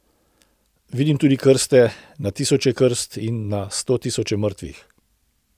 Vidim tudi krste, na tisoče krst in na stotisoče mrtvih.